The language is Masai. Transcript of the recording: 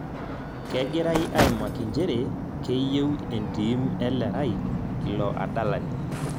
Kegirai aimaki njere keyieu entim Elerai ilo adalani